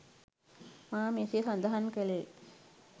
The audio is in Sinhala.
මා මෙසේ සඳහන් කළේ